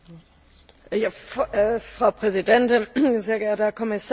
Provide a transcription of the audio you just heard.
Frau Präsidentin, sehr geehrter Herr Kommissar, liebe Kolleginnen und Kollegen!